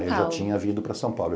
Aí eu já tinha vindo para São Paulo.